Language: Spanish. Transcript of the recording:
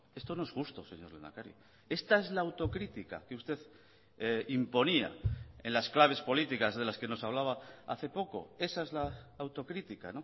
esto no es justo señor lehendakari esta es la autocrítica que usted imponía en las claves políticas de las que nos hablaba hace poco esa es la autocrítica